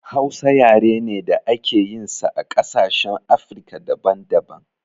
Hausa yare ne da ake yin sa a ƙasashen afrika daban daban